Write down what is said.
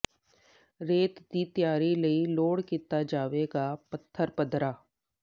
ਰੇਤ ਦੀ ਤਿਆਰੀ ਲਈ ਲੋੜ ਕੀਤਾ ਜਾਵੇਗਾ ਪੱਥਰ ਪੱਧਰਾ